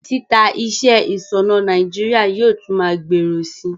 Títa iṣẹ́ ìsònà Naijiria yio tun ma gbòrò si